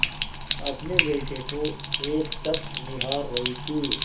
अपने बेटे को एकटक निहार रही थी